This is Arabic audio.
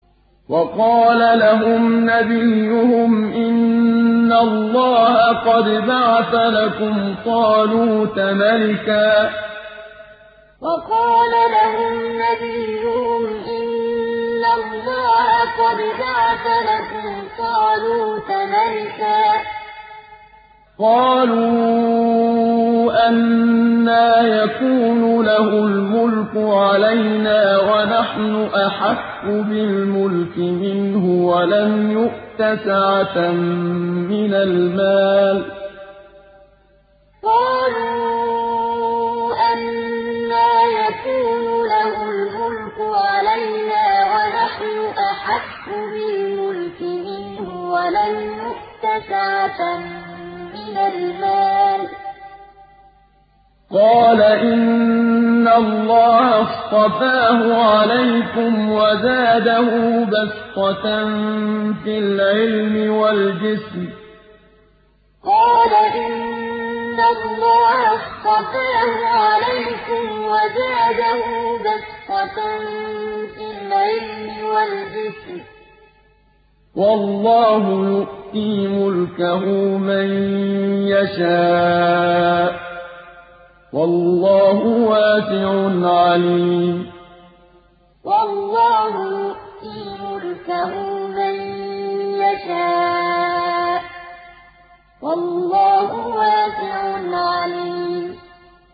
وَقَالَ لَهُمْ نَبِيُّهُمْ إِنَّ اللَّهَ قَدْ بَعَثَ لَكُمْ طَالُوتَ مَلِكًا ۚ قَالُوا أَنَّىٰ يَكُونُ لَهُ الْمُلْكُ عَلَيْنَا وَنَحْنُ أَحَقُّ بِالْمُلْكِ مِنْهُ وَلَمْ يُؤْتَ سَعَةً مِّنَ الْمَالِ ۚ قَالَ إِنَّ اللَّهَ اصْطَفَاهُ عَلَيْكُمْ وَزَادَهُ بَسْطَةً فِي الْعِلْمِ وَالْجِسْمِ ۖ وَاللَّهُ يُؤْتِي مُلْكَهُ مَن يَشَاءُ ۚ وَاللَّهُ وَاسِعٌ عَلِيمٌ وَقَالَ لَهُمْ نَبِيُّهُمْ إِنَّ اللَّهَ قَدْ بَعَثَ لَكُمْ طَالُوتَ مَلِكًا ۚ قَالُوا أَنَّىٰ يَكُونُ لَهُ الْمُلْكُ عَلَيْنَا وَنَحْنُ أَحَقُّ بِالْمُلْكِ مِنْهُ وَلَمْ يُؤْتَ سَعَةً مِّنَ الْمَالِ ۚ قَالَ إِنَّ اللَّهَ اصْطَفَاهُ عَلَيْكُمْ وَزَادَهُ بَسْطَةً فِي الْعِلْمِ وَالْجِسْمِ ۖ وَاللَّهُ يُؤْتِي مُلْكَهُ مَن يَشَاءُ ۚ وَاللَّهُ وَاسِعٌ عَلِيمٌ